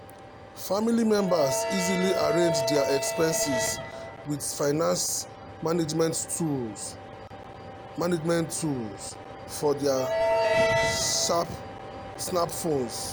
family members easily arrange dia expenses with finance management tools management tools for dia smartphones.